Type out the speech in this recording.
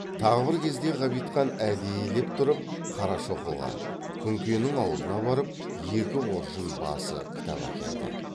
тағы бір кезде ғабитхан әдейілеп тұрып қарашоқыға күнкенің аулына барып екі қоржын басы кітап әкелді